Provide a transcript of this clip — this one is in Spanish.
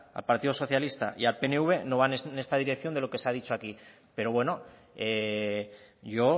al partido socialista y al pnv no van en esta dirección de lo que se ha dicho aquí pero bueno yo